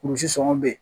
Kurusi sɔngɔ bɛ yen